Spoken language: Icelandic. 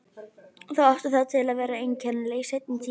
Þau áttu það til að vera einkennileg í seinni tíð.